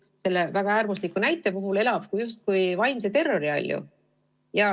Selle väga äärmusliku näite puhul see laps põhimõtteliselt elab justkui vaimse terrori all.